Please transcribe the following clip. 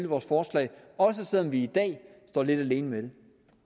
vores forslag også selv om vi i dag står lidt alene med det